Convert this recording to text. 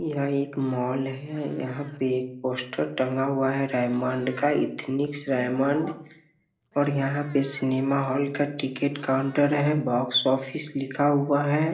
यह एक मॉल है यहाँ पे एक पोस्टर टंगा हुआ हुआ है रेयमंड का एथनिक रेयमंड और यहाँ पे सिनेमा हॉल का टिकट काउंटर है बोक्सोफ्फिस लिखा हुआ है।